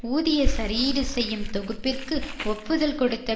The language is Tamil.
ஊதிய சரியீடு செய்யும் தொகுப்பிற்கு ஒப்புதல் கொடுத்த